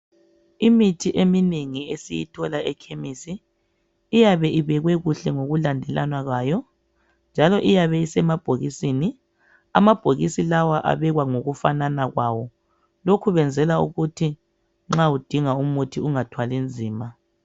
Imithi eminengi esiyithola ekhemisi iyabe ibekwe kuhle ngokulandelana kwayo njalo iyabe isemabhokisini, amabhokisi lawa abekwa ngokufanana kwawo lokhu benzela ukuthi nxa udinga umuthi ungathwali nzima.